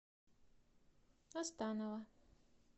останова